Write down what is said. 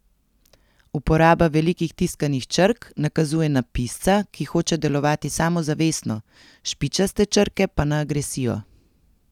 Uporaba velikih tiskanih črk nakazuje na pisca, ki hoče delovati samozavestno, špičaste črke pa na agresijo.